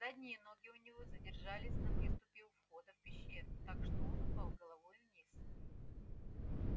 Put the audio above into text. задние ноги у него задержались на выступе у входа в пещеру так что он упал головой вниз